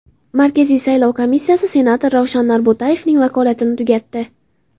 Markaziy saylov komissiyasi senator Ravshan Norbo‘tayevning vakolatini tugatdi.